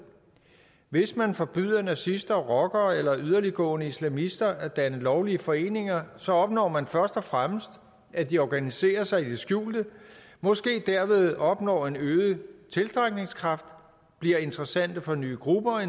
hvis man forbyder nazister rockere eller yderliggående islamister at danne lovlige foreninger så opnår man først og fremmest at de organiserer sig i det skjulte og måske derved opnår en øget tiltrækningskraft de bliver interessante for nye grupper og